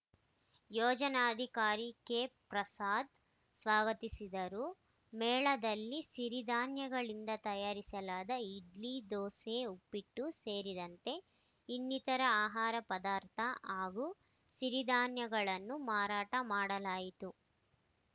ಯೋಜನಾಧಿಕಾರಿ ಕೆ ಪ್ರಸಾದ್‌ ಸ್ವಾಗತಿಸಿದರು ಮೇಳದಲ್ಲಿ ಸಿರಿಧಾನ್ಯಗಳಿಂದ ತಯಾರಿಸಲಾದ ಇಡ್ಲಿ ದೋಸೆ ಉಪ್ಪಿಟ್ಟು ಸೇರಿದಂತೆ ಇನ್ನಿತರ ಆಹಾರ ಪದಾರ್ಥ ಹಾಗೂ ಸಿರಿಧಾನ್ಯಗಳನ್ನು ಮಾರಾಟ ಮಾಡಲಾಯಿತು